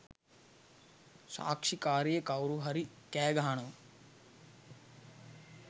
සාක්ෂිකාරිය කවුරුහරි කෑගහනවා